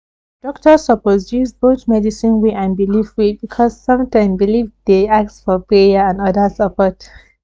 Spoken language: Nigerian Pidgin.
doctor suppose use both medicine way and belief way because sometime belief dey ask for prayer and other support